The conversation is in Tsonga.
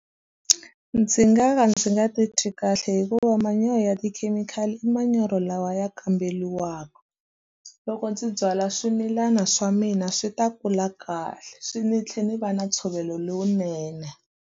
Ndzi nga ka ndzi nga titwi kahle hikuva manyoro ya tikhemikhali i manyoro lawa ya kamberiwaka. Loko ndzi byala swimilana swa mina swi ta kula kahle, swi ndzi tlhela ndzi va na ntshovelo lowunene.